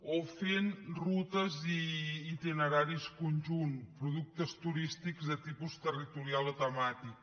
o fent rutes i itineraris conjunts productes turístics de tipus territorial o temàtic